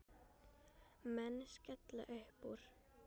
Menn skella uppúr.